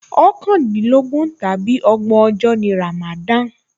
Ọ̀kàndínlọ́gbọ̀n tàbí ọgbọ̀n ọjọ́ ni ràmàdánà